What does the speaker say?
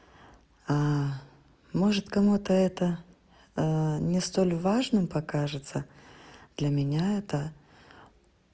может кому-то это не столь важным покажется для меня это